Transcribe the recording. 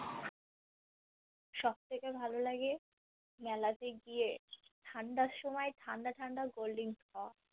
সব থেকে ভালো লাগে মেলাতে গিয়ে ঠান্ডার সময় ঠান্ডা ঠান্ডা cold drinks খাবা